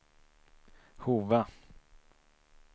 Hova